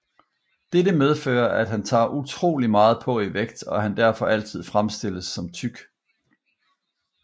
Dette medfører at han tager utrolig meget på i vægt og han er derfor altid fremstillet som tyk